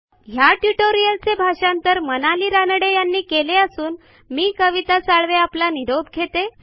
ह्या ट्युटोरियलचे मराठी भाषांतर मनाली रानडे यांनी केले असून मी कविता साळवे आपला निरोप घेते